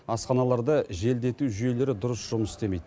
асханаларда желдету жүйелері дұрыс жұмыс істемейді